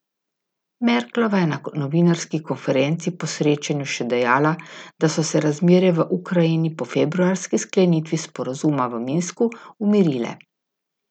Merklova je na novinarski konferenci po srečanju še dejala, da so se razmere v Ukrajini po februarski sklenitvi sporazuma v Minsku umirile.